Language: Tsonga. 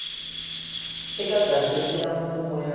eka gazette ya mfumo ya